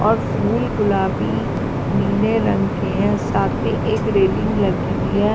और फूल गुलाबी नीले रंग के हैं साथ में एक रेलिंग लगी हुई है।